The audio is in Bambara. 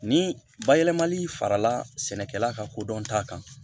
Ni bayɛlɛmali farala sɛnɛkɛla ka kodɔn ta kan